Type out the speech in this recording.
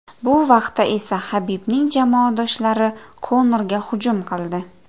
Bu vaqtda esa Habibning jamoadoshlari Konorga hujum qildi.